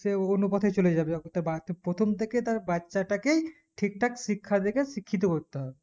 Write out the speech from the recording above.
সে কোনো পথে চলে যাবে অথচো বাপ্রথম থেকে তার বাচ্চা টাকে ঠিকঠাক শিক্ষা দেখে শিক্ষিত করতে হবে